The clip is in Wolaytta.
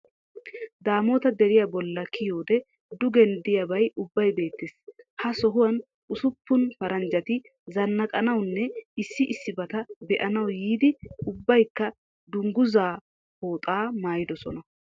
Daamota deriya balla kiyiyoode dugen diyabay ubbay beettes. Ha sohuwan usuppun paranjati zanaqqanawunne issi issibata be'anawu yiiddi ubbayikka dunguzaa pooxaa maayidosona